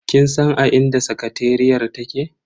Kin san a inda sakateriyar take?